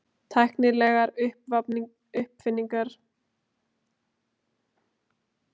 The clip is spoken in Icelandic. Tæknilegar uppfinningar Kínverja frá upphafi vega eru fjölmargar.